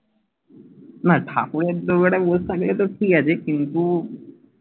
না ঠাকুরের থোবরাটা ঠিক আছে কিন্তু